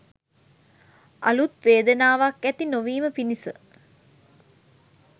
අලුත් වේදනාවක් ඇති නොවීම පිණිස